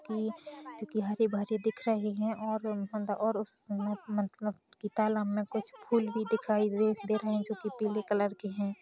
की जोकि हरे-भरे दिख रहे है और उन और उस मतलब की तालाब में कुछ फूल भी दिखाई द दे रहे है जोकि पिले कलर के है